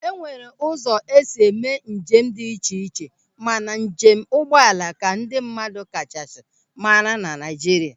E nwere ụzọ esi eme njem dị iche iche mana njem ụgbọala ka ndị mmadụ kachasị mara na Naịjirịa.